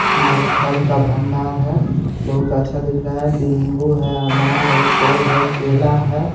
इधर फल का भंडार है बहुत अच्छा दिख रहा है लिम्बु है अनार है सेव है केला है.